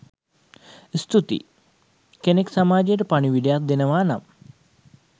ස්තුතියි෴ කෙනෙක් සමාජයට පනිවිඩයක් දෙනවා නම්